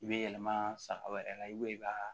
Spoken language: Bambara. I bɛ yɛlɛma saga wɛrɛ la i b'o i b'a